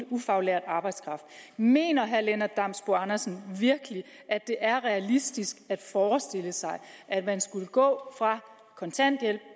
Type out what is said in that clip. ufaglært arbejdskraft mener herre lennart damsbo andersen virkelig at det er realistisk at forestille sig at man skulle gå fra kontanthjælp